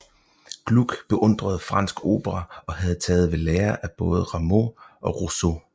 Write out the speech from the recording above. Gluck beundrede fransk opera og havde taget ved lære af både Rameau og Rousseau